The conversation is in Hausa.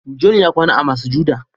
"John" ya kwana a masujada.